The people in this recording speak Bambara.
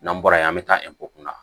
N'an bɔra yen an bɛ taa kunna